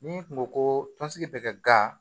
N'i kun ko ko tɔnsigi bɛ kɛ ga